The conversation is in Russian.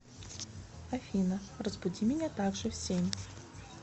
афина разбуди меня так же в семь